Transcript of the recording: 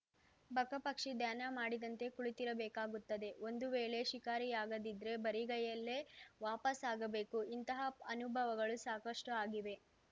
ಬಕ ಪಕ್ಷಿ ಧ್ಯಾನ ಮಾಡಿದಂತೆ ಕುಳಿತಿರಬೇಕಾಗುತ್ತೆ ಒಂದು ವೇಳೆ ಶಿಕಾರಿಯಾಗದಿದ್ರೆ ಬರಿಗೈಯಲ್ಲೇ ವಾಪಸ್‌ ಆಗಬೇಕು ಇಂತಹ ಅನುಭವಗಳು ಸಾಕಷ್ಟುಆಗಿವೆ